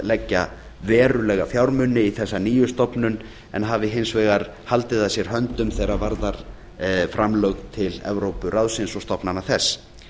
leggja verulega fjármuni í þessa nýju stofnun en hafi hins vegar haldið að sér höndum þegar varðar framlög til evrópuráðsins og stofnana þess